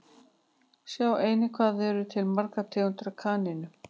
Sjá einnig Hvað eru til margar tegundir af kanínum?